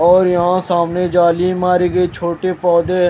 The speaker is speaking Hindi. और यहां सामने जली मार गई छोटे पौधे है।